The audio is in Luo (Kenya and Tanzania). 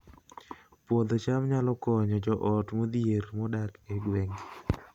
Puodho cham nyalo konyo joot modhier modak e gwenge